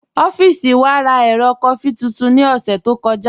Ọffísì wà rá èrò kọfí tuntun ní ọ̀ṣẹ̀ tó kọja.